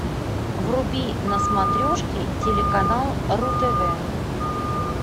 вруби на смотрешке телеканал ру тв